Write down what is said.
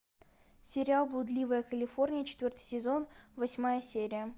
сериал блудливая калифорния четвертый сезон восьмая серия